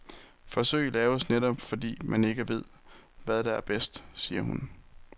Forsøg laves netop fordi, man ikke ved, hvad der er bedst, siger hun.